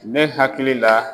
Ne hakili la